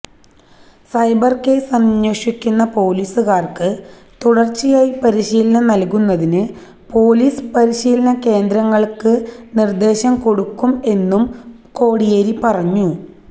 cyber case അന്വേഷിക്കുന്ന പോലീസുകാര്ക്ക് തുടര്ച്ചയായി പരിശീലനം നല്കുന്നതിന് പോലീസ് പരിശീലന കേന്ദ്രങ്ങള്ക്ക് നിര്ദേശം കൊടുക്കും എന്നും കോടിയേരി പറഞ്ഞു